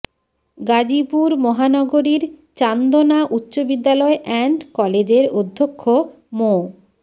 গাজীপুর মহানগরীর চান্দনা উচ্চ বিদ্যালয় অ্যান্ড কলেজের অধ্যক্ষ মো